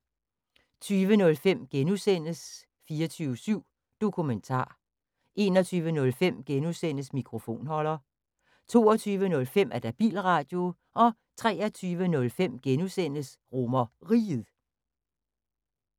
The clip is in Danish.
20:05: 24syv Dokumentar (G) 21:05: Mikrofonholder (G) 22:05: Bilradio 23:05: RomerRiget (G)